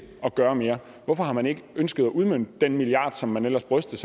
at gøre mere hvorfor har man ikke ønsket at udmønte den milliard som man ellers brystede